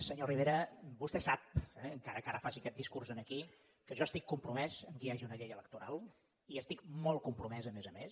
senyor rivera vostè sap eh encara que ara faci aquest discurs aquí que jo estic compromès que hi hagi una llei electoral hi estic molt compromès a més a més